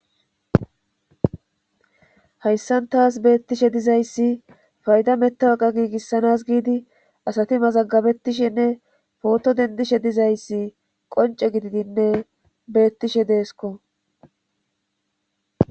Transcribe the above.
hayssan taas beettishe dizayssi fayda mettawaqa giigissanas giidi asati mazagabettishenne pooto dendishe dizayssi qonce gididinne beettishe deesko